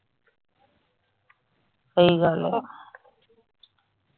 ਸਹੀ ਗੱਲ ਆ .